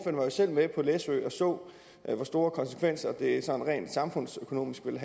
var jo selv med på læsø og så hvor store konsekvenser det rent samfundsøkonomisk vil